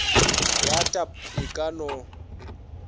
ya tb e ka no